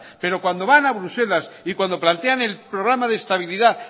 pero cuando van a bruselas y cuando plantean el programa de estabilidad